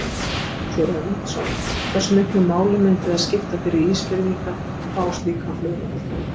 Ásgeir Erlendsson: Hversu miklu máli myndi það skipta fyrir Ísfirðingar að fá slíkan flugvöll?